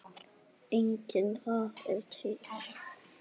Einnig það er til.